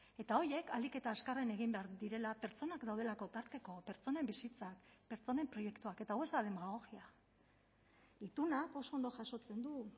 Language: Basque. eta horiek ahalik eta azkarren egin behar direla pertsonak daudelako tarteko pertsonen bizitzak pertsonen proiektuak eta hau ez da demagogia itunak oso ondo jasotzen du